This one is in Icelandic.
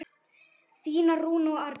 Þínar Rúna og Arna.